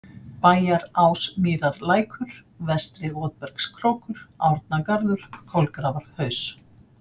Bæjarásmýrarlækur, Vestri-Votbergskrókur, Árnagarður, Kolgrafarhaus